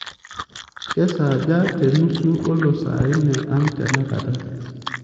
kesaaja te nusu olosaine ang tenakata